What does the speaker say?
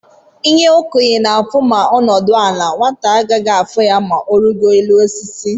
ihe okenye na afụ ma onudu ala, nwata agaghị afu ya ma origoro élú osisi.